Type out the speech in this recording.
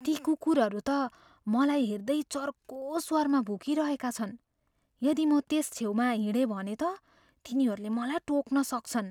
ती कुकुरहरू त मलाई हेर्दै चर्को स्वरमा भुकिरहेका छन्। यदि म त्यस छेउमा हिँडेँ भने त तिनीहरूले मलाई टोक्न सक्छन्।